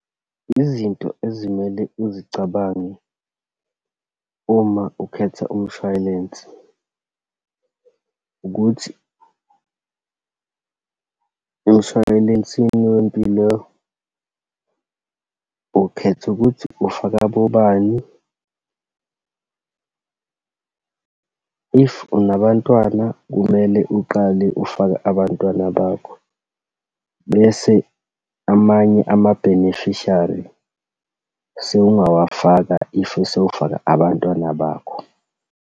Izinto ezimele uzicabange uma ukhetha umshwayilensi, ukuthi emshwayilensini wempilo, ukhetha ukuthi ufaka abobani. If, unabantwana kumele uqale ufake abantwana bakho, bese amanye ama-beneficiary sowungawafaka, if sewufake abantwana bakho.